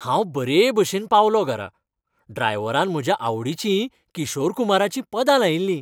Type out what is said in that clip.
हांव बरे भशेन पावलो घरा. ड्रायव्हरान म्हज्या आवडीचीं किशोर कुमाराचीं पदां लायिल्ली.